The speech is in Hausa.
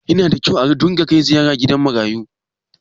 yana da kyau a dinga Kai ziyara gidan marayu